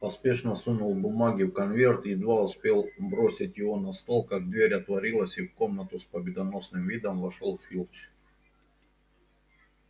поспешно сунул бумаги в конверт едва успел бросить его на стол как дверь отворилась и в комнату с победоносным видом вошёл филч